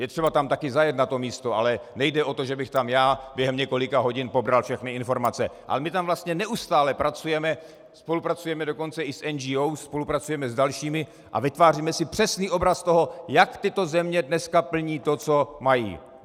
Je třeba tam taky zajet na to místo, ale nejde o to, že bych tam já během několika hodin pobral všechny informace, ale my tam vlastně neustále pracujeme, spolupracujeme dokonce i s NGO, spolupracujeme s dalšími a vytváříme si přesný obraz toho, jak tyto země dneska plní to, co mají.